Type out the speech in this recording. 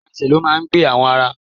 Àwọn ẹsẹ̀ ló máa ń gbé àwọn ara.